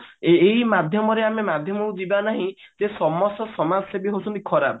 ଏହି ଏହି ମାଧ୍ୟମ କୁ ଯିବା ନାହି ଯେ ସମସ୍ତ ସମଜ ସେବି ହେଇଛନ୍ତି ଖରାପ